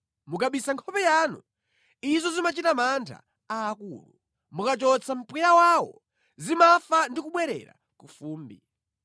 Mukabisa nkhope yanu, izo zimachita mantha aakulu; mukachotsa mpweya wawo, zimafa ndi kubwerera ku fumbi.